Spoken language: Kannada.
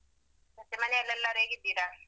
ಮತ್ತೆ ಮನೆಯಲ್ಲಿ ಎಲ್ಲರೂ ಹೇಗಿದ್ದೀರಾ?